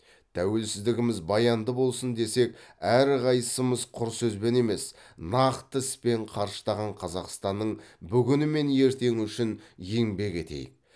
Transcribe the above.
тәуелсіздігіміз баянды болсын десек әрқайсымыз құр сөзбен емес нақты іспен қарыштаған қазақстанның бүгіні мен ертеңі үшін еңбек етейік